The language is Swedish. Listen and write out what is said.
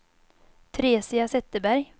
Teresia Zetterberg